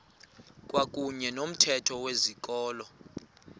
kwakuyne nomthetho wezikolo